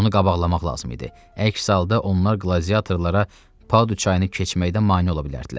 Onu qabaqlamaq lazım idi, əks halda onlar qladiatorlara Padu çayını keçməkdən mane ola bilərdilər.